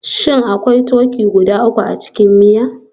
Shin akwai turkey guda uku a cikin miya?